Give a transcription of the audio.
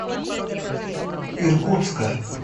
иркутска